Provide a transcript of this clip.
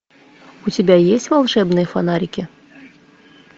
у тебя есть волшебные фонарики